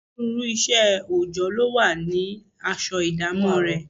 Onírúurú iṣẹ́ oòjọ́ ló ní aṣọ ìdámọ̀ rẹ̀